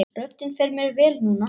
Röddin fer mér vel núna.